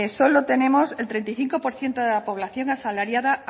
solo tenemos el treinta y cinco por ciento de la población asalariada